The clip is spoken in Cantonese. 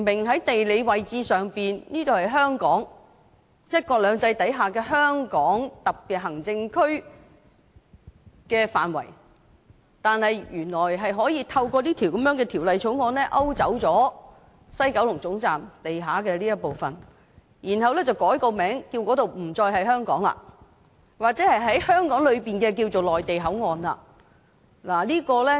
在地理位置上明顯地這裏是香港、在"一國兩制"下香港特別行政區的範圍，但原來是可以透過《條例草案》勾走西九龍總站地下的這一部分，然後改名為內地口岸區，不再是香港的一部分了，或者可說是香港裏的內地口岸。